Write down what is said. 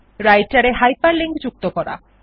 রাইটের মধ্যে হাইপারলিংক যুক্ত করা